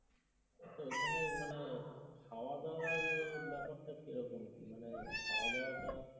তো ঐখানে মানে খাওয়া দাওয়ার ব্যাপার টা কিরকম কি হবে মানে খাওয়া দাওয়াটা